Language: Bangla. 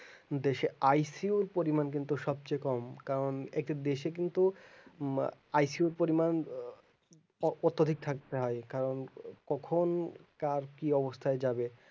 দেশে ICU র পরিমান কিন্তু সবচেয়ে কম কারণ একটা দেশে কিন্তু ICU র পরিমান অত্যাধিক থাকতে হয় কারণ কখন কার কি অবস্থায় যাবে